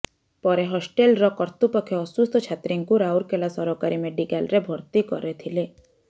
ପରେ ହଷ୍ଟେଲର କର୍ତୃପକ୍ଷ ଅସୁସ୍ଥ ଛାତ୍ରୀଙ୍କୁ ରାଉରକେଲା ସରକାରୀ ମେଜିକାଲରେ ଭର୍ତି କରିଥିଲେ